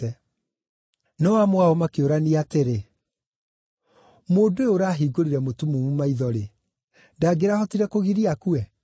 No amwe ao makĩũrania atĩrĩ, “Mũndũ ũyũ ũrahingũrire mũtumumu maitho-rĩ, ndangĩrahotire kũgiria akue?”